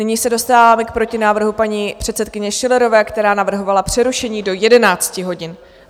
Nyní se dostáváme k protinávrhu paní předsedkyně Schillerové, která navrhovala přerušení do 11 hodin.